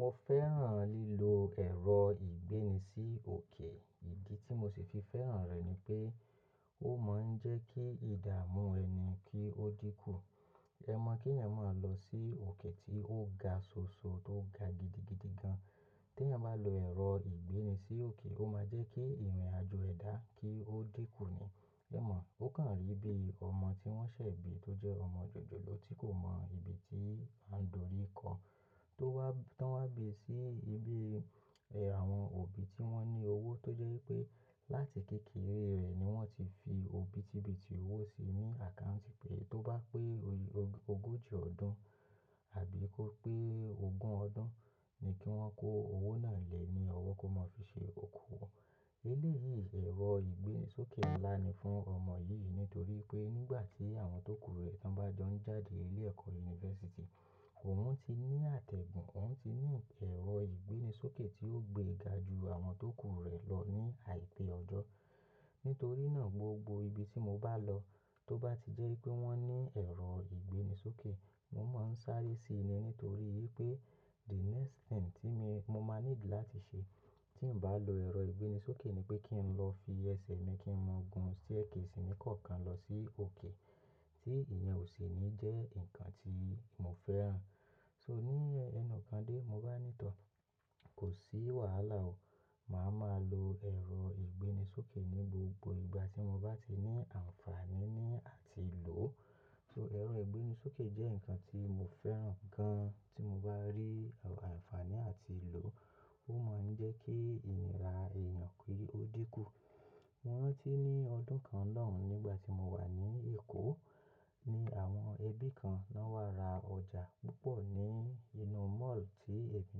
Mo fẹ́ràn lílo ẹ̀rọ ìgbéni sí òkè. Ìdí tí mo sì fi fẹ́ràn rẹ̀ ni pé ó máa ń jẹ́ kí ìdààmú ẹni kí ó dínkù. Ẹ mọ̀ kí ẹ̀yin máa lọ sí òkè tí ó ga soso, tó ga gidigidi gan. Tí ẹ̀yin bá lo ẹ̀rọ ìgbéni sí òkè, ó máa jẹ́ kí ìrìnàjò ẹ dá kí ó dínkù ni. Ẹ mọ̀, ó kàn rí bí ọmọ tí wọ́n ṣẹ̀ bí tó jẹ́ ọmọ jòjòló tí kò mọ ibi tí a ń dori kan tó wá, tán wá bè sí ibi, ẹ, àwọn òbí tí wọ́n ní owó tó jẹ́ wípé láti kékeré rẹ̀ ni wọ́n ti fi òbítìbíti owó sí ní àkáǹtì pé tó bá pé ogójì ọdún àbí kó pé ogún ọdún ni kí wọ́n kó owó náà lée ní ọwọ́ kó máa fi ṣe òkú wọn. Eléyìí, ẹ̀rọ ìgbéni sókè ńlá ni fún ọmọ yìí nítorí pé nígbà tí àwọn tó kú rẹ̀ tán bá jọ ń jáde ilé ẹ̀kọ́ yunifásítì, òun ti ní àtẹ̀gùn, òun ti ní ẹ̀rọ ìgbéni sókè tí ó gbée ga ju àwọn tó kú rẹ̀ lọ ní àìpé ọjọ́. Nítorí náà gbogbo ibi tí mo bá lọ tó bá ti jẹ́ wípé wọ́n ní ẹ̀rọ ìgbéni sókè, mo máa ń sáré síi ni nítorí wípé the next thing tí mi, mo máa nílò láti ṣe tí ń bá lo ẹ̀rọ ìgbéni sókè ni pé kí n lọ fi ẹsẹ̀ mi kí n máa gun staircase ní kọ̀ọ̀kan lọ sí òkè tí ìyẹn ò sì ní jẹ́ nǹkan tí mo fẹ́ ràn. So ní ẹnu kande, mo bá ní tọọ̀, kò sí wàhálà o. Màá ma lo ẹ̀rọ ìgbéni sókè ní gbogbo ìgbà tí mo bá ti ní àǹfàní ní àti lò. So ẹ̀rọ ìgbéni sókè jẹ́ nǹkan tí mo fẹ́ràn gan tí mo bá rí àǹfàní àti lò. Ó máa ń jẹ́ kí ìnira èèyàn kí ó dínkù. Mo rántí ní ọdún kan lọ́hùn nígbà tí mo wà ní Èkó ní àwọn ẹbí kan lọ wá ra ọjà púpọ̀ ní inú mall tí èmí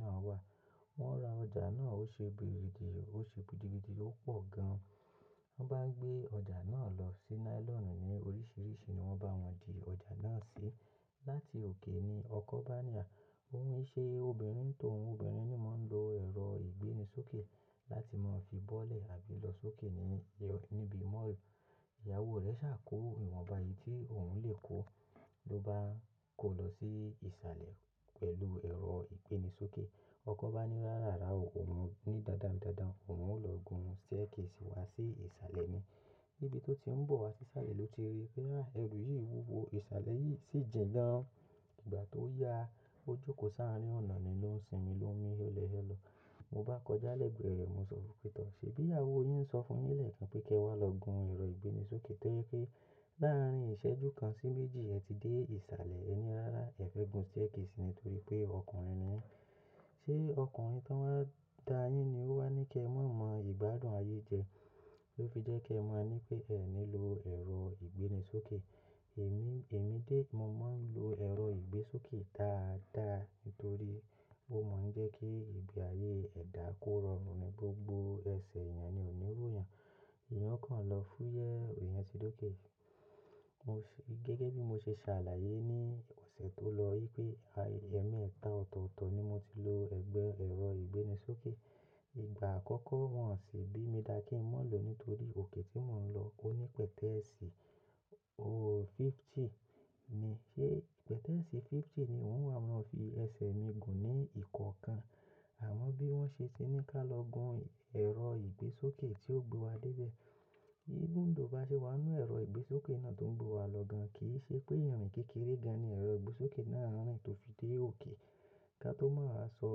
náà wà. Wọ́n ra ọjà náà ó ṣe gidi, ó ṣe gidi gidi, ó pọ̀ gan. Wọ́n bá ń gbé ọjà náà lọ sí nylonu ní oríṣiríṣi ni wọ́n bá wọn di ọjà náà sí. Láti òkè ni ọkọ bá ní à, òun ṣe obìnrin tòun, obìnrin ni mọ́ ń lo ẹ̀rọ ìgbéni sókè láti máa fi bọ́lẹ̀ àbí lọ sókè ní, níbi mall. Ìyàwó rẹ̀ ṣà kò ìwọ̀nba yìí tí òun lè kó ló bá kó lọ sí ìsàlẹ̀ pẹ̀lú ẹ̀rọ ìgbéni sókè. Ọkọ bá ní rárá o, òun ní dándán, n dándán, òun ó lọ gun staircase wá sí ìsàlẹ̀ ni. Níbi tó ti ń bọ̀ wá sí sàlẹ̀ ló ti rí pé àá ẹrú yìí wúwo, ìsàlẹ̀ yìí sì jìnà. Ìgbà tó ya, ó jókòó sáarín ọ̀nà ní ló n sìnmi ló n mi, ó hẹ́lẹ̀ lọ. Mo bá kọjá lẹ́gbẹ̀ẹ́ rẹ̀, mo sọ fún pé tọ́ ṣé bí ìyàwó yín ń sọ fún yín lẹ́ẹ̀kan pé kí ẹ wá lọ gun ẹ̀rọ ìgbéni sókè torí pé láàárín ìṣẹ́jú kan sí méjì ẹ ti dé ìsàlẹ̀ ẹ ní rárá ẹ fẹ́ gun staircase ni nítorí pé ọkùnrin ni. Ṣé ọkùnrin tó máa ń da yín ni ó wá ní kí ẹ má mọ ìgbádùn ayé jẹ ló fi jẹ́ kí ẹ máa ní pé ẹ ní lọ ẹ̀rọ ìgbéni sókè. Èmi, èmi dé, mo máa ń lo ẹ̀rọ ìgbésókè dáadáa nítorí ó máa ń jẹ́ kí ìgbé ayé ẹdà kó rọrùn ni gbogbo ẹsẹ̀ èèyàn ni òní ròyàn. Èèyàn o kàn lọ fúyẹ́, èèyàn ti dóké. Mo ṣe gẹ́gẹ́ bí mo ṣe ṣàlàyé ní ọ̀sẹ̀ tó lọ wípé ẹ̀mẹ́ta ọ̀tọ̀ọ̀tọ̀ ni mo ti lo ẹgbẹ́ ẹ̀rọ ìgbéni sókè. Ìgbà àkọ́kọ́ wọn sì bí mi dà kí n má lò nítorí òkè tí mò ń lọ ó ní pẹ̀tẹ́ẹ̀sì, ooo fifty ni. Ṣé pẹ̀tẹ́ẹ̀sì fifty ni wọ́n wá máa fi ẹsẹ̀ mi gùn ní ìkọ̀ọ̀kan. Àmọ́ bí wọ́n ṣe ti ní ká lọ gun ẹ̀rọ ìgbésókè tí ó gbé wa dé ibẹ̀. Ífúúndoò bá ṣe wà nínú ẹ̀rọ ìgbésókè náà tó ń gbé wa lọ gan, kì í ṣe pé ìrìn kékeré gan ni ẹ̀rọ ìgbésókè náà rin tó fi dé òkè. Ká tó máa sọ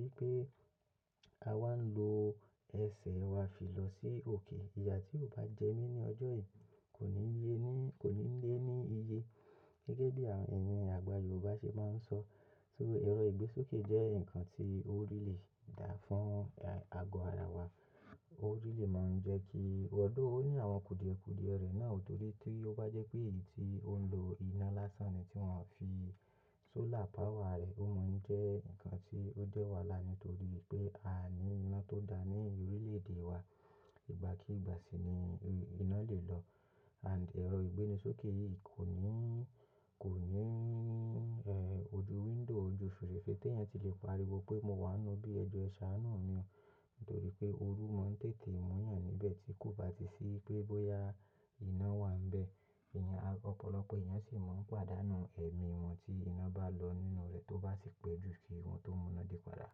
wípé a wá ń lo ẹsẹ̀ wa fi lọ sí òkè. Iyà tí ò bá jẹ mí ní ọjọ́ yìí kò ní lé ní, kò ní lé ní iye. Gẹ́gẹ́ bí à ẹ́yin àgbà Yorùbá ṣe máa ń sọ. So ẹ̀rọ ìgbésókè jẹ́ nǹkan tí ó rí lè dára fún àgọ ara wa. Ó rí lè máa ń jẹ́ kí ọ̀ọ̀dóo ó ní àwọn kùdìékùdìẹ rẹ̀ náà nítorí tí ó bá jẹ́ pé èyí tí ó ń lo iná lásán ni tí wọ́n fi solar power rẹ̀, ó máa ń jẹ́ nǹkan tí ó jẹ́ wàhálà nítorí pé a ní iná tó dá ní orílẹ̀-èdè wa. Ìgbà kí ìgbà sì ni iná lè lọ. And ẹ̀rọ ìgbéni sókè yìí kò ní, kò ní, ẹ, ojú window, ojú fèrèsé tí èèyàn ti lè pariwo pé mo wà nínú bí ẹ jọ̀ọ́ ẹ ṣàánú mì o nítorí pé ooru máa ń tètè mú ẹ̀yàn níbẹ̀ tí kò bá ti sí pé bóyá iná wà níbẹ̀. Ìyẹn, ọ̀pọ̀lọpọ̀ ẹ̀yàn sì máa ń pàdánù ẹ̀mí wọn tí iná bá lọ nínú rẹ̀ tó bá sì pé ju kí ohun tó mú iná dé padà.